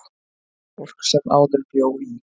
Fólk sem áður bjó í